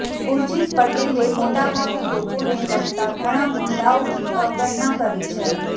ઉર્જીત પટેલે મોટાભાગે લોકોને લગતા ઘણા મુદ્દાઓની અવગણના કરી છે